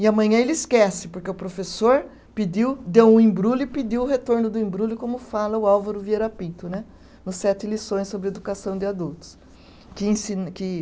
E amanhã ele esquece, porque o professor pediu, deu um embrulho e pediu o retorno do embrulho, como fala o Álvaro Vieira Pinto né, no sete lições sobre educação de adultos. Que ensina, que